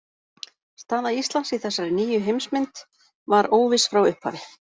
Staða Íslands í þessari nýju heimsmynd var óviss frá upphafi.